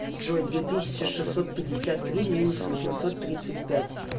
джой две тысячи шестьсот пятьдесят три минус восемьсот тридцать пять